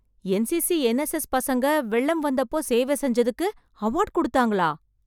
NCC, NSS பசங்க வெள்ளம் வந்தப்போ சேவை செஞ்சதுக்கு, அவார்ட் குடுத்தாங்களா...